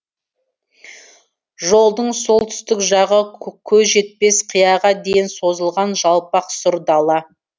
жолдың солтүстік жағы көз жетпес қияға дейін созылған жалпақ сұр дала